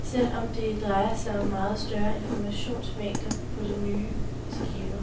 selv om det drejer sig om meget større informationsmængder på de nye skiver.